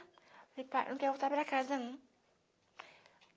Falei, pai, não quer voltar para casa, não.